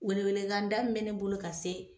Welekanda min bɛ ne bolo ka se